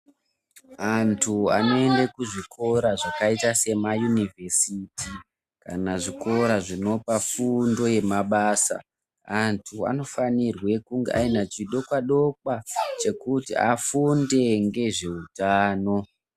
Antu anoende kuzvikora zvakaita semaYunivhesiti kana zvikora zvinopa fundo yemabasa antu anofanirwe kunge aine chidokwadokwa chekuti afunde ngezveutano.